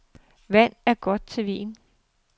Vand er godt til vin.